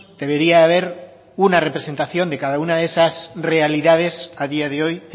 debería haber una representación de cada una de esas realidades a día de hoy